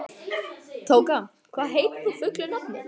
Tóka, hvað heitir þú fullu nafni?